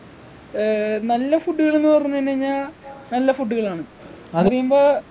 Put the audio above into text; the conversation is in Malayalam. ഏർ നല്ല food കള് ന്നു പറഞ്ഞു കഴിഞ്ഞ് ഞ്ഞാ നല്ല food കളാണ്